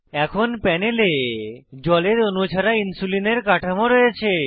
এখন প্যানেলে জলের অণু ছাড়া ইনসুলিনের কাঠামো রয়েছে